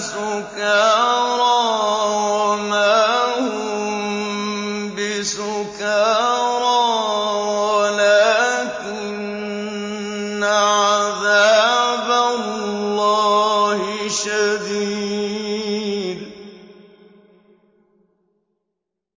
سُكَارَىٰ وَمَا هُم بِسُكَارَىٰ وَلَٰكِنَّ عَذَابَ اللَّهِ شَدِيدٌ